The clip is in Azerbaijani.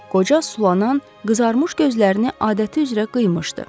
Qoca sulanan, qızarmış gözlərini adəti üzrə qıymışdı.